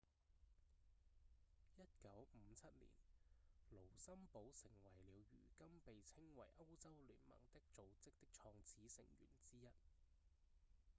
1957年盧森堡成為了如今被稱為歐洲聯盟的組織的創始成員之一